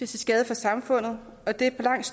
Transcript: til skade for samfundet og det på langt